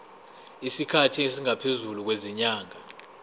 isikhathi esingaphezulu kwezinyanga